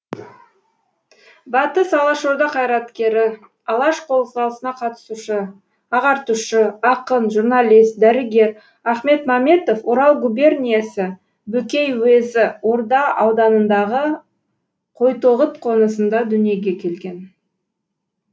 батыс алашорда қайраткері алаш қозғалысына қатысушы ағартушы ақын журналист дәрігер ахмет маметов орал губерниесі бөкей уезі орда ауданындағы қойтоғыт қонысында дүниге келген